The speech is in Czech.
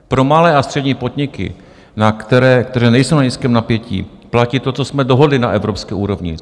Pro malé a střední podniky, které nejsou na nízkém napětí, platí to, co jsme dohodli na evropské úrovni.